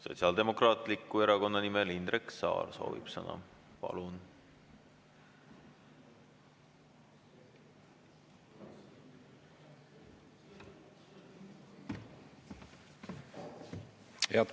Sotsiaaldemokraatliku Erakonna nimel soovib sõna Indrek Saar.